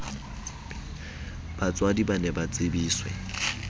batswadi ba ne ba tsebiswe